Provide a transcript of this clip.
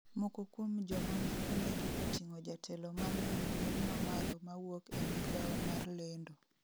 moko kuom joma ne onegi oting'o jatelo manie rang'iny mamalo mawuok e migao mar lendo